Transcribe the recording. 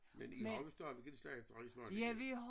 Men I har jo stadigvæk en slagter i Svaneke